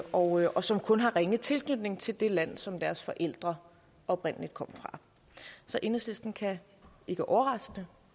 og og som kun har ringe tilknytning til det land som deres forældre oprindelig kom fra så enhedslisten kan ikke overraskende